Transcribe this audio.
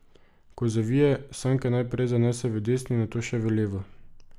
Ko zavije, sanke najprej zanese v desno in nato še v levo.